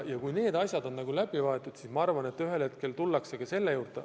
Kui need asjad on läbi võetud, siis ma arvan, et ühel hetkel tullakse selle juurde.